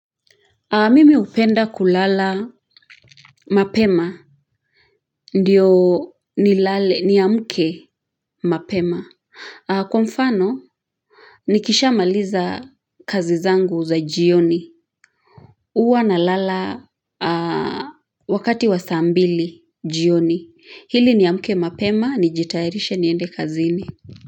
Mimi hupenda kulala mapema ndiyo ni lale niamuke mapema kwa mfano nikisha maliza kazi zangu za jioni uwa na lala wakati wa saa mbili jioni hili ni amuke mapema nijitairishe niende kazini.